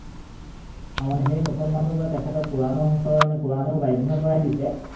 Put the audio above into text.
অ মানে সেই মুছলমানটো মানে তেখেতৰ কোৰাণেও বাধ্য কৰাই দিছে।